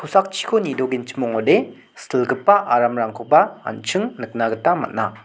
nidogenchim ong·ode silgipa aramrangkoba an·ching nikna gita man·a.